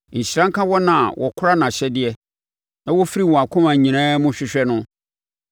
Nhyira nka wɔn a wɔkora nʼahyɛdeɛ, na wɔfiri wɔn akoma nyinaa mu hwehwɛ no.